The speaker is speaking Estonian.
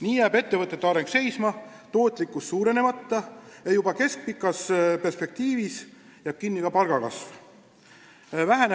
Nii jääb ettevõtete areng seisma, tootlikkus suurenemata ja juba keskpikas perspektiivis jääb kinni ka palgakasv.